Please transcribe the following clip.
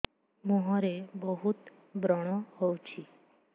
ମୁଁହରେ ବହୁତ ବ୍ରଣ ହଉଛି